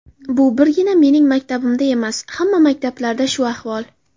Bu birgina mening maktabimda emas, hamma maktablarda shu ahvol.